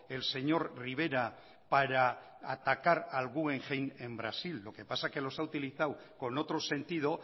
el señor rivera para atacar al guggenheim en brasil lo que pasa que los ha utilizado con otro sentido